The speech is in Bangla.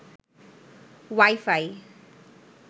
ওয়াইফাই